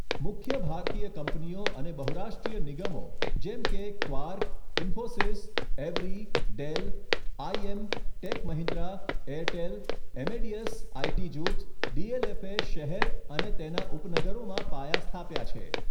મુખ્ય ભારતીય કંપનીઓ અને બહુરાષ્ટ્રીય નિગમો જેમ કે Quark, Infosys, Avaya, Dell, IBM, Tech Mahindra, Airtel, Amadeus IT જુથ, ડીએલએફે શહેર અને તેના ઉપનગરોમાં પાયા સ્થાપ્યા છે.